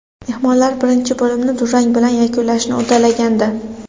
Mehmonlar birinchi bo‘limni durang bilan yakunlashni uddalagandi.